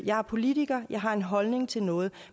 jeg er politiker jeg har en holdning til noget